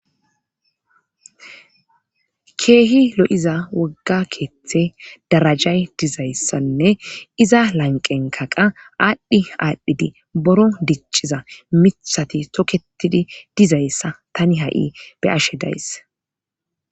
keehi lo7iza wogga keeththe darajay dizayssanne iza lanqenkaqa aadhdhi aadhdhidi boro dicciza mitthati toketidi dizayssa tani ha7i be ashe days